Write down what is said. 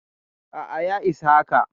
A'a ya isa haka.